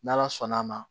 N' ala sɔnn'a ma